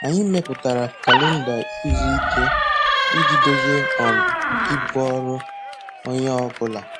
Anyị mepụtara kalenda izu ike iji dozie um ibu ọrụ onye ọ bụla.